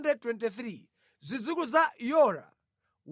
zidzukulu za Yora 112